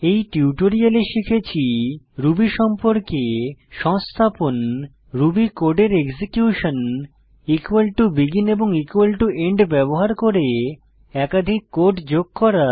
এই টিউটোরিয়ালে শিখেছি রুবি সম্পর্কে সংস্থাপন রুবি কোডের এক্সিকিউশন begin এবং end ব্যবহার করে একাধিক কোড যোগ করা